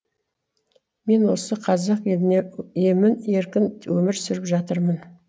мен осы қазақ елінде емін еркін өмір сүріп жатырмын